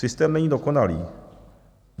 Systém není dokonalý.